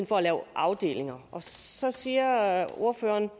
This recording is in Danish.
for at lave afdelinger og så siger ordføreren